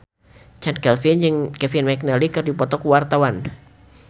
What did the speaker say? Chand Kelvin jeung Kevin McNally keur dipoto ku wartawan